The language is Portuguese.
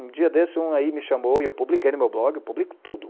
Um dia desses um aí me chamou, e eu publico aí no meu blog, eu publico tudo.